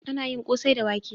Ana yin kosai da wake.